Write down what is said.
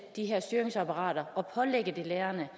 de her styringsapparater og pålægge lærerne